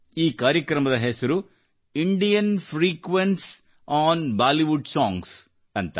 ಈ ಕಾರ್ಯಕ್ರಮದ ಹೆಸರು Indian frequency on Bollywood songs ಎಂದು